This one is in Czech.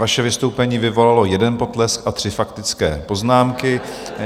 Vaše vystoupení vyvolalo jeden potlesk a tři faktické poznámky.